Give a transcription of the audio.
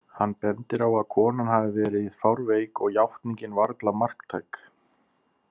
Hann bendir á að konan hafi verið fárveik og játningin varla marktæk.